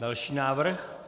Další návrh.